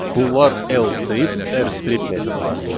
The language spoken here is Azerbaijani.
Bunlar L strip, R strip metodlarıdır.